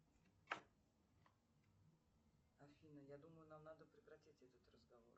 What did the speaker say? афина я думаю нам надо прекратить этот разговор